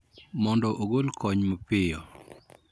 Mondo ogol kony mapiyo